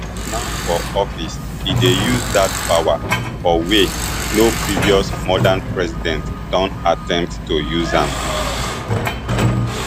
now for office e dey use dat power for way no previous modern president don attempt to use am